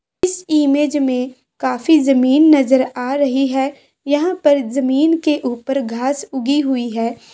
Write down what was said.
इस इमेज में काफी जमीन नज़र आ रही है यहाँ पर जमीन के ऊपर घास उगी हुई है।